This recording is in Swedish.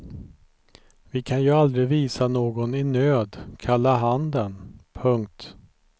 Vi kan ju aldrig visa någon i nöd kalla handen. punkt